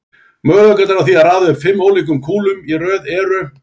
Möguleikarnir á því að raða upp fimm ólíkum kúlum í röð eru